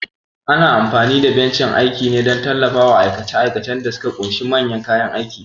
Ana amfani da bencin aiki ne don tallafawa aikace-aikacen da suka ƙunshi manyan kayan aiki.